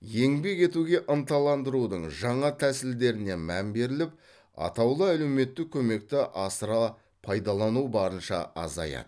еңбек етуге ынталандырудың жаңа тәсілдеріне мән беріліп атаулы әлеуметтік көмекті асыра пайдалану барынша азаяды